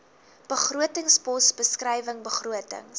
begrotingspos beskrywing begrotings